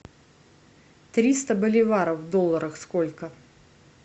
триста боливаров в долларах сколько